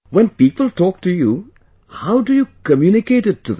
When people talk to you, how do you communicate it to them